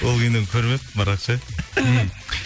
ол киноны көрмеппін бірақ ше мхм